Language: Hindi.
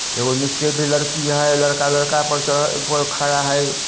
एक वह नीचे भी लड़की है यहाँ लड़का -लड़का पर चढ़ा खड़ा हैं।